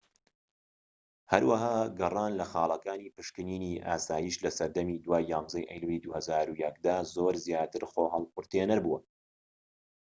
هەروەها گەڕان لە خاڵەکانی پشکنینی ئاسایش لە سەردەمی دوای 11ی ئەیلولی 2001 دا زۆر زیاتر خۆ تێھەڵقورتێنەر بوونە